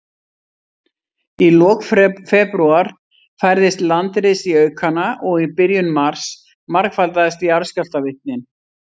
Í lok febrúar færðist landris í aukana, og í byrjun mars margfaldaðist jarðskjálftavirknin.